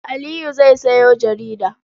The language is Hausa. Aliyu zai sayo jarida.